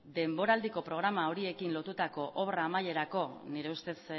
denboraldiko programa horiekin lotutako obra amaierako nire ustez